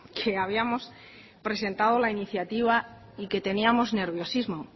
que habíamos presentado la iniciativa y que teníamos nerviosismo